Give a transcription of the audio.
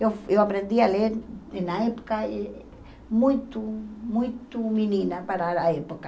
Eu eu aprendi a ler na época muito, muito muito menina para a época.